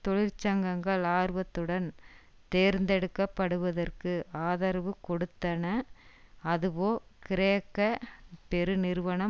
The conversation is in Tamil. தொழிற்சங்கங்கள் ஆர்வத்துடன் தேர்ந்தெடுக்க படுவதற்கு ஆதரவு கொடுத்தன அதுவோ கிரேக்க பெருநிறுவனம்